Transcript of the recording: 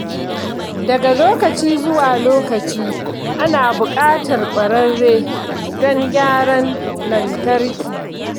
Daga lokaci zuwa lokaci, ana buƙatar ƙwararre don gyaran lantarki.